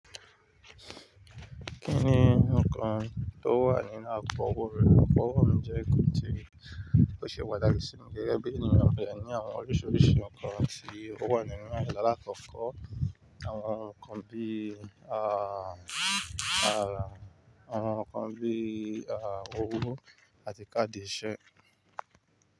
Kí ni nnkan tó wà nínú àpò owó rẹ? Àpò owó jẹ́ ibi tí ó ṣe pataki sí mi, gẹ́gẹ́ bí ènìyàn mo dẹ ní àwọn oríṣiríṣi nnkan tí ó wà nínú rẹ̀, lákọọkọ àwọn nnkan bí, àwọn nnkan bí i, owó àti káàdì ìṣe.